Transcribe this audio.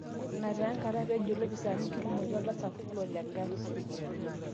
Ina taa enkata peejo ilopisani kirumoki oltasat Fulod egari